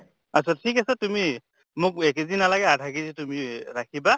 আত্চ্ছা ঠিক আছে তুমি মোক এক KG নালাগে আধা KG তুমি ৰাখিবা